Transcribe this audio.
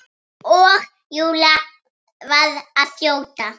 Og Júlía varð að þjóta.